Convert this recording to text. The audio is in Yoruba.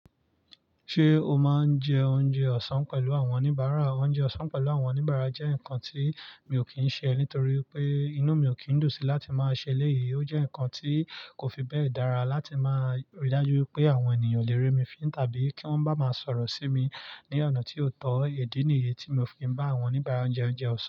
Ṣé o máa ń jẹ oúnjẹ ọ̀sán pẹ̀lú àwọn oníbàárà? Oúnjẹ ọ̀sán pẹ̀lú àwọn oníbàárà jẹ́ nǹkan tí mi ò kí ń ṣe nítorí pé inú mi ò kí ń dùn sí láti máa ṣe eléyìí. Ó jẹ́ ǹkan tí kò fi bẹ́ẹ̀ dára láti máa rí dájú pé àwọn ènìyàn ó lè rémi fín tàbí kí wọ́n bá máa sọ̀rọ̀ sí mi ní ọ̀nà tí ó tọ́. Idí nìyí tí mi ò fi ń bá àwọn oníbàárà jẹ oúnjẹ ọ̀sán.